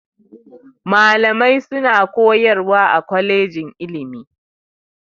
Malamai suna koyarwa a kwalejin ilimi.